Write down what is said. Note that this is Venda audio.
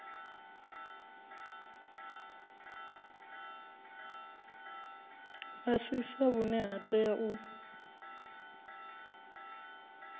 fhasisa vhune ha tea u